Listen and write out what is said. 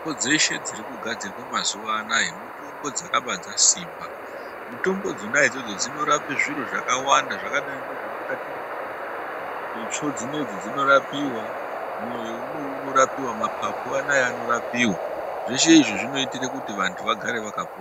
Mitombo dzeshe dziri kugadzirwa mazuwa anaya mitombo dzakaba dzasimba. Mutombo dzona idzodzo dzinorape zviro zvakawanda zvakadai ngezvemukati mwemuntu. Itsvo dzinedzi dzinorapiwa, mwoyo unou unorapiwa, maphaphu anaya anorapiwa. Zveshe izvi zvinoitire kuti vantu vagare vakapona.